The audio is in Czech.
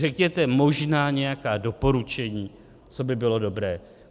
Řekněte možná nějaká doporučení, co by bylo dobré.